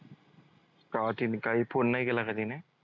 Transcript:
का तिने काही phone नाही केला का तिने?